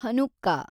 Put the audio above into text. Hanukkah